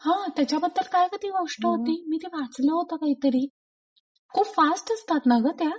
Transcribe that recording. हा त्याच्याबद्दल काय ग ती गोष्ट होती मी ते वाचल होत काहीतरी खूप फास्ट असतात ना ग त्या?